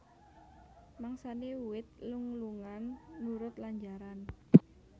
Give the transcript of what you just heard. Mangsané wit lung lungan nurut lanjaran